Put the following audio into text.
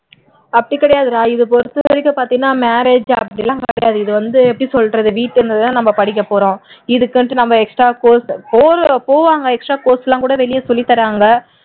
அப்படி கிடையாதுடா இது பாத்தீன்னா marriage அப்படி எல்லாம் கிடையாது இது வந்து எப்படி சொல்றது வீட்ல இருந்துதான் நம்ம படிக்கப்போறோம் இதுக்குன்னுட்டு நம்ம extra course extra course எல்லாம்கூட வெளிய சொல்லித்தறாங்க